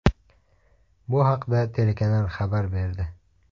Bu haqda telekanal xabar berdi.